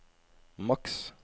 maks